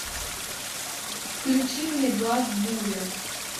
включи мне глаз бури